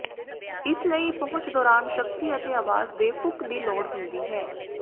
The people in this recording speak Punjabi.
ਇਸ ਲਈ ਪਹੁੰਚ ਦੌਰਾਨ ਸ਼ਕਤੀ ਅਤੇ ਆਵਾਜ਼ ਦੇ ਫੁੱਕ ਦੀ ਲੋੜ ਹੁੰਦੀ ਹੈ